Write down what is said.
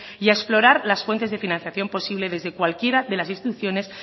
y a explorar las fuentes de financiación posible desde cualquiera de las instituciones